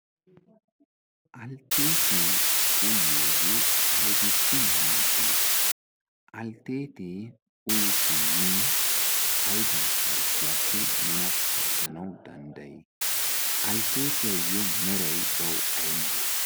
altteetee uyiyoogee aibissi maaddii? altteetee uyi simmin aiba harggiyaappe nuna pattanawu danddayi alteetiyaayyo merai bawu ai malee?